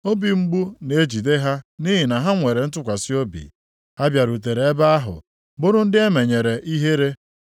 Obi mgbu na-ejide ha nʼihi na ha nwere ntụkwasị obi, ha bịarutere ebe ahụ, bụrụ ndị emenyere ihere.